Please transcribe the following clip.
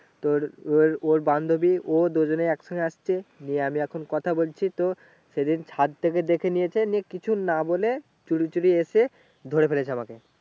তোর ওই ওর বান্ধবী ও দুজনে একসঙ্গে আসছে গিয়ে আমি এখন কথা বলছি তো সেদিন ছাদ থেকে দেখে নিয়েছে নিয়ে কিছু না বলে চুরিচুরি এসে ধরে ফেলেছে আমাকে